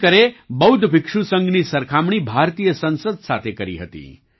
આંબેડકરે બૌદ્ધ ભિક્ષુ સંઘની સરખામણી ભારતીય સંસદ સાથે કરી હતી